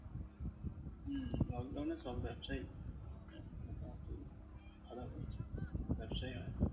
হম lockdown এ সব ব্যবসাই ব্যবসাই হয় নি।